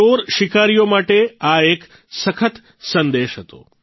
ચોર શિકારીઓ માટે આ એક સખત સંદેશ હતો